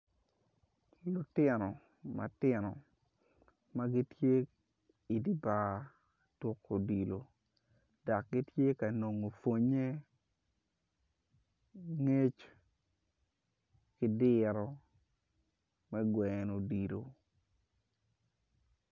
Lutino matino magitye idye bar tuku odilo dok gitye ka nongo pwonye ngec ki diro me gweno odilo